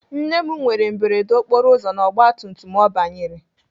Nne m nwere mberede okporoụzọ na ọgbatumtum ọ banyere.